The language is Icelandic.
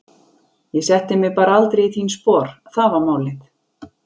Ég setti mig bara aldrei í þín spor, það var málið.